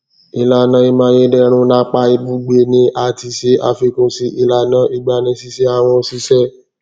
ilana imayederun napa ibugbe ni a tis e afikun si ilana igbanisise awon osise